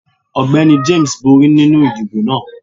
Ọgbẹni James bori ninu idibo naa.